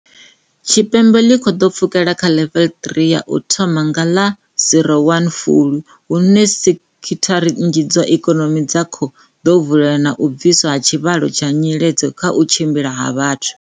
Tshipembe ḽi khou ḓo pfukela kha Ḽevele ya 3 u thoma nga ḽa 01 Fulwi - hune sekhi thara nnzhi dza ikonomi dza khou ḓo vula na u bviswa ha tshivhalo tsha nyiledzo kha u tshimbila ha vhathu.